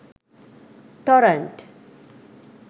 torrent